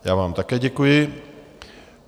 Já vám také děkuji.